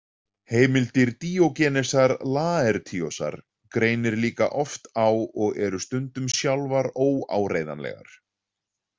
Heimildir Díógenesar Laertíosar greinir líka oft á og eru stundum sjálfar óáreiðanlegar.